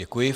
Děkuji.